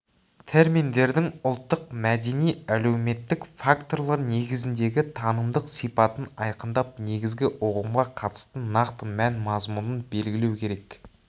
терминдердің ұлттық мәдени әлеуметтік факторлар негізіндегі танымдық сипатын айқындап негізгі ұғымға қатысты нақты мән-мазмұнын белгілеу керек